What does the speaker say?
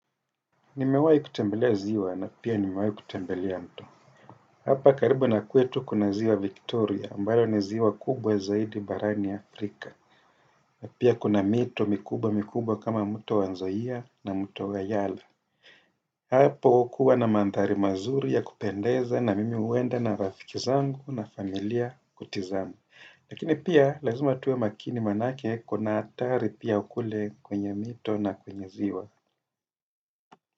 Nimewai kutembelea ziwa na pia nimewai kutembelea mto. Hapa karibu na kwetu kuna ziwa Victoria ambayo ni ziwa kubwa zaidi barani Afrika. Na pia kuna mito mikubwa mikubwa kama mto wa nzoia na mto wa Yala. Hapo kukua na mandhari mazuri ya kupendeza na mimi huenda na rafiki zangu na familia kutizama. Lakini pia lazima tuwe makini manake kuna hatari pia kule kwenye mito na kwenye ziwa.